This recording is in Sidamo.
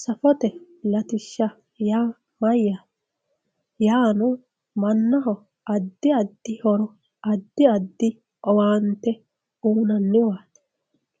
Safote latishsha yaa mayyate yaano mannaho addi addi horo addi addi owaante uuyinanniwati,